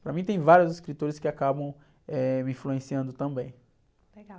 Para mim tem vários escritores que acabam, eh, me influenciando também.egal.